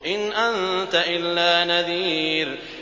إِنْ أَنتَ إِلَّا نَذِيرٌ